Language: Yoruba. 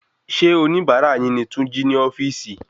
Ṣé oníbárà yin ni túnjí ni ofíìsì?